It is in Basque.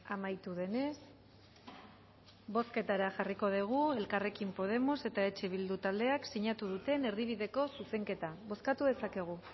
amaitu denez bozketara jarriko dugu elkarrekin podemos eta eh bildu taldeak sinatu duten erdibideko zuzenketa bozkatu dezakegu